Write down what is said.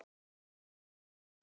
Og þau hlógu öll.